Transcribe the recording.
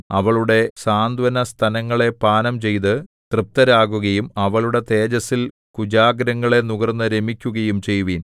അവളുടെ സാന്ത്വനസ്തനങ്ങളെ പാനംചെയ്തു തൃപ്തരാകുകയും അവളുടെ തേജസ്സിൻ കുചാഗ്രങ്ങളെ നുകർന്നു രമിക്കുകയും ചെയ്യുവിൻ